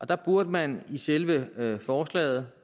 der burde man i selve forslaget